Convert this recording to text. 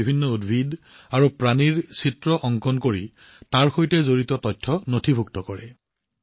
তেওঁলোকে বিভিন্ন উদ্ভিদ আৰু প্ৰাণীৰ চিত্ৰ নিৰ্মাণ কৰি ইয়াৰ সৈতে জড়িত তথ্যসমূহ নথিভুক্ত কৰে